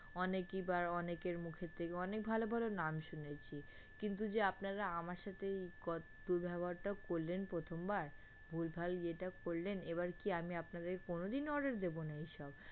অনেকবার অনেকের মুখের থেকে অনেক ভালো ভালো নাম শুনেছি কিন্তু যে আপনারা আমার সাথেই দুর্ব্যবহারটা করলেন প্রথমবার ভুলভাল ইয়েটা করলেন এবার কি আমি আপনাদের কোনোদিনও order দেব না এইসব